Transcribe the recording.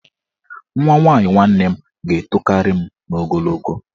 Nwa nwaanyị nwanne m ga-etokarị m n'ogologo.